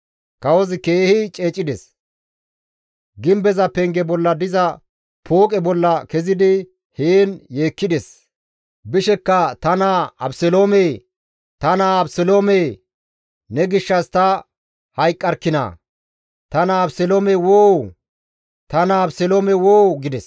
Kawozi keehi ceecides; gimbeza penge bolla diza pooqe bolla kezidi heen yeekkides; bishekka, «Ta naa Abeseloome! Ta naa Abeseloome! Ne gishshas ta hayqqarkkinaa! Ta naa Abeseloome woo! Ta naa Abeseloome woo!» gides.